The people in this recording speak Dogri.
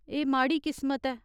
एह् माड़ी किस्मत ऐ।